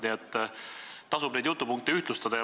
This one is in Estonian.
Nii et tasuks neid jutupunkte ühtlustada.